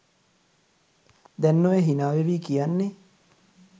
දැන් ඔය හිනා වෙවී කියන්නෙ